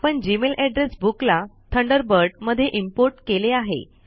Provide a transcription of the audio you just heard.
आपण Gmail address book ला Thunderbird मध्ये इम्पोर्ट केले आहे